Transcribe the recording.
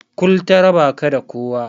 Kul ta raba ka da kowa.